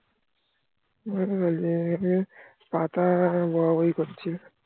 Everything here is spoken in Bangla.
পাতা বোয়া বয়ি করছিলো